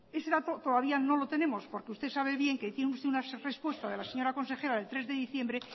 ese dato todavía no lo tenemos porque usted sabe bien que tiene usted una respuesta de la señora consejera del tres de diciembre